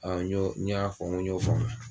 n y'ɔ n y'a fɔ ŋo n y'o faamuya.